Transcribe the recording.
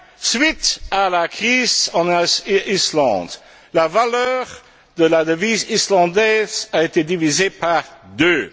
Suite à la crise en Islande, la valeur de la devise islandaise a été divisée par deux.